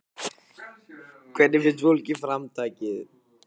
Hvernig finnst fólki framtakið?